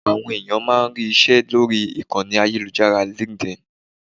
Àwọn ẹ̀yàn máa ń rí ìṣe lórí ìkànnì ayélujára LinkedIn.